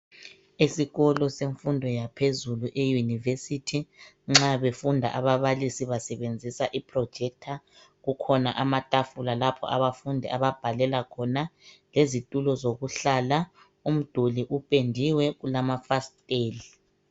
Esikolo semfundo yaphezulu e'University "nxa befunda ababalisi basebenzisa i" projector" kukhona amatafula lapho abafundi ababhalela khona lezitulo zokuhlala, umduli upendiwe ulamafasiteli.